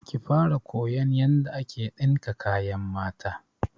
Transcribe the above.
Ki fara koyan yanda ake ɗinka kayan mata!